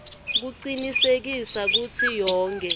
kucinisekisa kutsi yonkhe